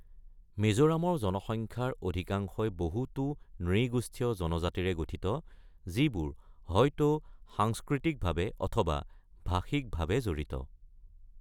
মিজোৰামৰ জনসংখ্যাৰ অধিকাংশই বহুতো নৃগোষ্ঠীয় জনজাতিৰে গঠিত, যিবোৰ হয়তো সাংস্কৃতিকভাৱে অথবা ভাষিকভাৱে জড়িত।